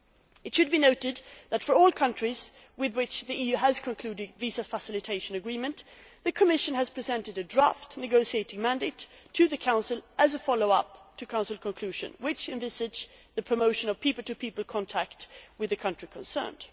It should be noted that, for all countries with which the EU has concluded visa facilitation agreements, the Commission has presented a draft negotiating mandate to the Council as a follow up to Council conclusions which envisage the promotion of people to people contact with the country concerned.